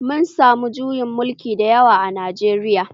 Mun samu juyin mulki da yawa a Najeriya